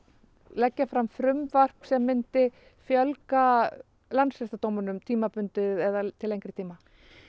leggja fram frumvarp sem myndi fjölga landsdóm tímabundið eða til lengri tíma